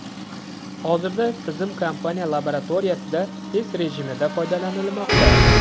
Hozirda tizim kompaniya laboratoriyasida test rejimida foydalanilmoqda.